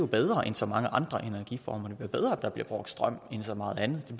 bedre end så mange andre energiformer det er bedre at der bliver brugt strøm end så meget andet for